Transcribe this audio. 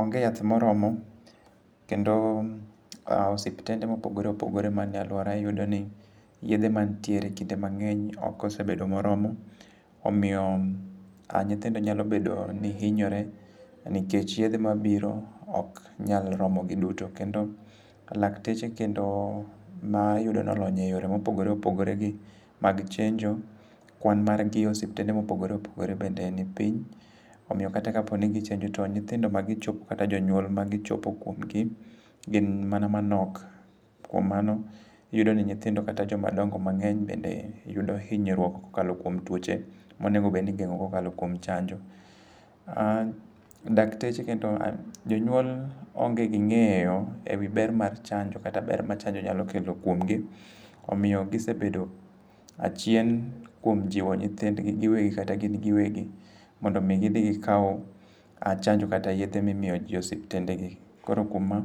Onge yath moromo, kendo osiptende mopogore opogore manie alwora iyudoni yedhe manitiere e kinde mang'eny okosebedo moromo. Omiyo ah nyithindo nyalo bedo ni hinyore nikech yedhe mabiro ok nyal romogi duto. Kendo lakteche kendo maiyudo nolony e yore mopogore opogore gi mag chenjo, kwan margi e osiptende mopogore opogore bende ni piny. Omiyo kata ka poni gichenjo to nyithindo ma gichopo kata jonyuol magichopo kuomgi gin mana manok. Kuom mano, iyudo ni nyithindo kata jomadongo mang'eny bende yudo hinyruok kokalo kuom tuoche monego bedni igeng'o kokalo kuom chanjo. An dakteche kendo jonyuol onge gi ng'eyo ewi ber mar chanjo kata ber ma chanjo nyakelo kuomgi. Omiyo gisebedo achien kuom jiwo nyithindgi giwegi kata gin giwegi mondo mi gidhi gikaw chanjo kata yedhe mimiyo ji e osiptende gi. Koro kuom ma,